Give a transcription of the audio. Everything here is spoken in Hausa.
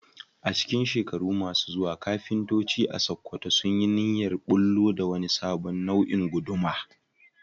A cikin shekaru masu zuwa, kafintoci a Sakkwato sun yi niyyar bullo da wani sabon nau'in guduma